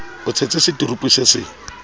e tshetse seturupu se se